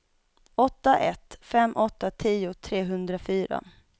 åtta ett fem åtta tio trehundrafyra